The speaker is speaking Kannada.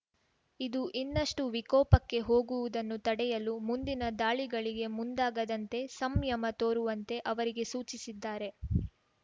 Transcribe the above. ಇದು ಇನ್ನಷ್ಟು ವಿಕೋಪಕ್ಕೆ ಹೋಗುವುದನ್ನು ತಡೆಯಲು ಮುಂದಿನ ದಾಳಿಗಳಿಗೆ ಮುಂದಾಗದಂತೆ ಸಂಯಮ ತೋರುವಂತೆ ಅವರಿಗೆ ಸೂಚಿಸಿದ್ದಾರೆ